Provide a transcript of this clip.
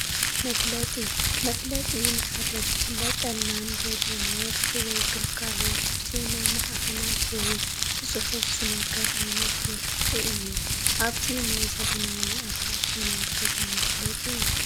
መፋለጢ፡- መፋለጢ ንሓደ ክፋለጠልና እንደልዮ ምህርቲ ወይ ግልጋሎት ብዜና ማዕኸናት ወይ ብፅሑፍ ዝነግር ዓይነት መመልከቲ እዩ፡፡ ኣብዚ ናይ ዘበናዊ ኣፓርትመንት ገዛ መፋለጢ እዩ፡፡